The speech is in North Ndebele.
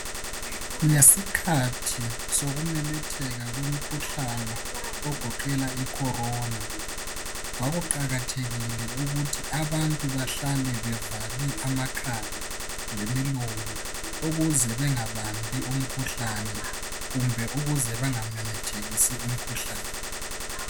Ngesikhathi sokumemetheka komkhuhlane ogoqela I Corona. kwaku qakathekile ukuthi abantu bahlale bevale amakhala lemilomo. Ukuze bengabambi umkhuhlane kumbe ukuze benga memethekisi umkhuhlane.